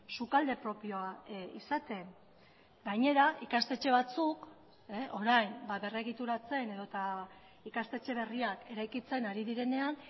sukalde propioa izaten gainera ikastetxe batzuk orain berregituratzen edota ikastetxe berriak eraikitzen ari direnean